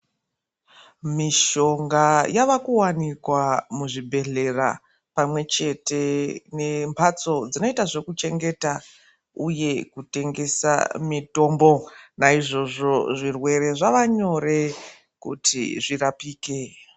Mishonga yavakuwanikwa muzvibhehlera pamwechete nembatso dzinoita zvekuchengeta uye kutengesa mitombo naizvozvo zvirwere zvava nyore kuti zvirapike.